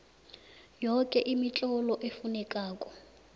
yoke imitlolo efunekako